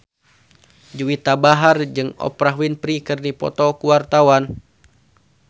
Juwita Bahar jeung Oprah Winfrey keur dipoto ku wartawan